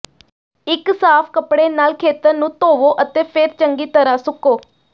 ਇਕ ਸਾਫ਼ ਕੱਪੜੇ ਨਾਲ ਖੇਤਰ ਨੂੰ ਧੋਵੋ ਅਤੇ ਫਿਰ ਚੰਗੀ ਤਰ੍ਹਾਂ ਸੁੱਕੋ